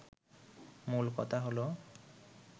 মূল কথা হলো